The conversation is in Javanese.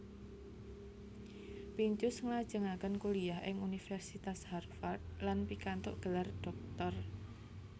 Pincus nglajengaken kuliah ing Universitas Harvard lan pikantuk gelar dhoktor